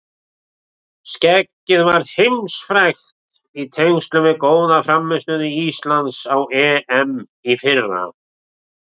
Skeggið varð heimsfrægt í tengslum við góða frammistöðu Íslands á EM í fyrra.